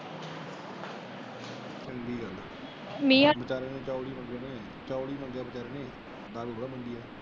ਦਾਰੂ ਥੋੜਾ ਮਿਲਦੀ ਏ।